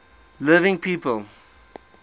living people